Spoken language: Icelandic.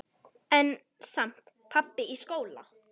En samt- pabbi í skóla?